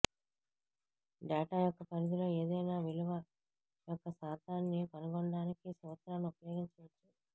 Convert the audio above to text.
data యొక్క పరిధిలో ఏదైనా విలువ యొక్క శాతాన్ని కనుగొనడానికి ఈ సూత్రాన్ని ఉపయోగించవచ్చు